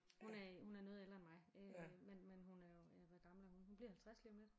Hun er hun er noget ældre end mig øh men men hun er jo ja hvor gammel er hun hun bliver 50 lige om lidt